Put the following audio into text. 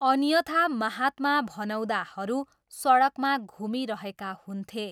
अन्यथा महात्मा भनाउँदाहरू सडकमा घुमिरहेका हुन्थे।